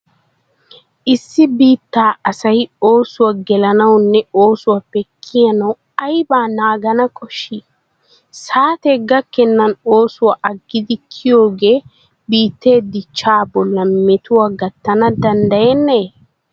Issi biittaa asay oosuwa gelanawunne oosuwappe kiyanawu aybaa naagana koshshii? Saatee gakkennan oosuwa aggidi kiyiyoogee biittee dichchaa bollan metuwa gattana danddayennee?